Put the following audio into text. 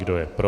Kdo je pro?